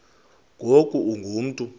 ngoku ungu mntu